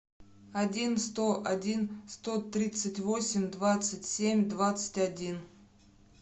один сто один сто тридцать восемь двадцать семь двадцать один